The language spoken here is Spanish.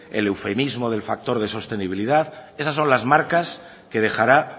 el eufemismo del factor de sostenibilidad esas son las marcas que dejará